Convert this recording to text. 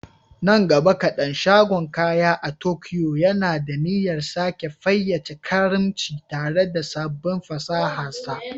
Nan gaba kadan, shagon kaya a Tokyo yana da niyyar sake fayyace karimci tare da sabbin fasahar sa.